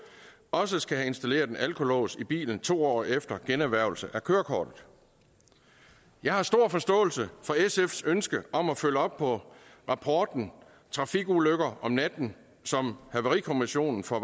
også skal have installeret en alkolås i bilen to år efter generhvervelse af kørekortet jeg har stor forståelse for sfs ønske om at følge op på rapporten trafikulykker om natten som havarikommissionen for